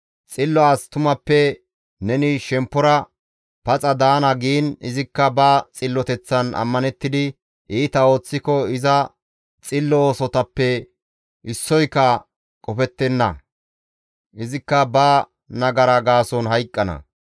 Xillo as tumappe neni shemppora paxa daana giin izikka ba xilloteththan ammanettidi iita ooththiko iza xillo oosotappe issoyka qofettenna; izikka ba nagara gaason hayqqana.